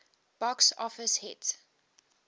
box office hit